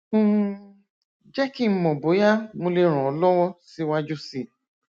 um jẹ kí n mọ bóyá mo lè ràn ọ lọwọ síwájú sí i